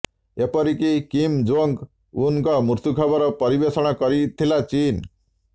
ଏପରିକି Kim Jong ଉନଙ୍କ ମୃତ୍ୟୁ ଖବର ପରିବେଷଣ କରିଥିଲା ଚୀନ